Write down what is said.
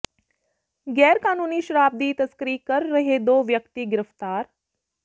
ਗੈਰਕਾਨੂੰਨੀ ਸ਼ਰਾਬ ਦੀ ਤਸਕਰੀ ਕਰ ਰਹੇ ਦੋ ਵਿਅਕਤੀ ਗ੍ਰਿਫ਼ਤਾਰ